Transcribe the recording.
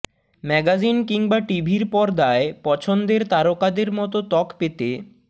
magazine কিংবা টিভির পর্দায় পছন্দের তারকাদের মতো ত্বক পেতে